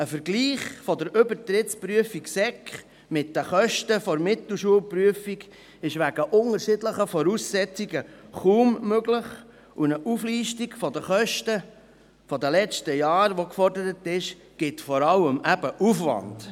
Ein Vergleich der Kosten zwischen der Übertrittsprüfung in Sekundarstufe mit den Kosten der Mittelschulprüfung ist wegen unterschiedlichen Voraussetzungen kaum möglich, und eine Auflistung der Kosten der letzten Jahre, wie sie gefordert wird, führt vor allem zu Aufwand.